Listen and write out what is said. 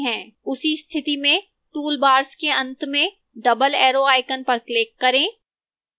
उस स्थिति में toolbars के अंत में double arrow icon पर click करें